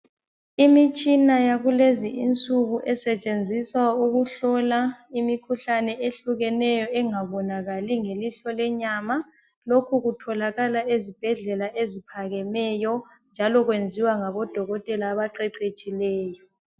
Imitshina yakulezi insuku esetshenziswa ukuhlola imikhuhlane ehlukeneyo engabonakali ngelihlo lenyama lokhu kutholakala ezibhedlela eziphakemeyo njalo kwenziwa ngabodokotela abaqeqetshileyo.